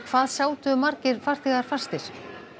hvað sátu margir farþegar fastir